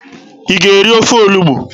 Ị ga-eri ofe olugbu?